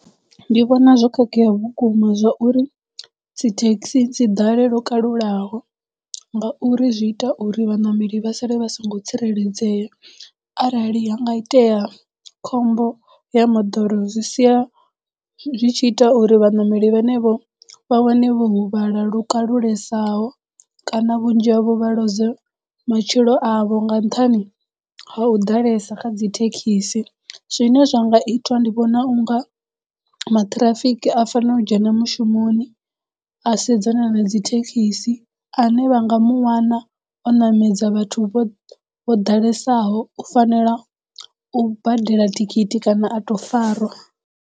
Ndi vhona zwo khakhea vhukuma zwa uri dzi taxi dzi ḓale lwo kalulaho ngauri zwi ita uri vhaṋameli vha sale vha songo tsireledzea arali ha nga itea khombo ya moḓoro zwi sia zwi tshi ita uri vhaṋameli vhane vho vha wane vho huvhala lu kalulesaho kana vhunzhi havho vha loze matshilo avho nga nṱhani ha u ḓalesa kha dzi thekhisi. Zwine zwa nga itwa ndi vhona u nga maṱhirafiki a fanela u dzhena mushumoni a sedzana na dzithekisi ane vha nga muwana o ṋamedza vhathu vho vho ḓalesaho u fanela u badela thikhithi kana a tou farwa.